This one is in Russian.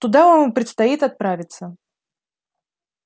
туда вам и предстоит отправиться